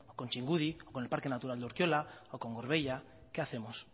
con txingudi con el parque natural de urkiola o con gorbeia qué hacemos